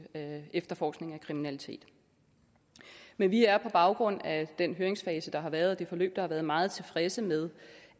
af efterforskning af kriminalitet men vi er på baggrund af den høringsfase der har været og det forløb der har været meget tilfredse med